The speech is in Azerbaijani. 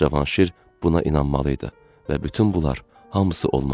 Cavanşir buna inanmalı idi və bütün bunlar hamısı olmalı idi.